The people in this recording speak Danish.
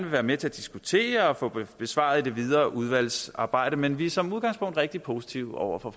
være med til at diskutere og få besvaret i det videre udvalgsarbejde men vi er som udgangspunkt rigtig positive over for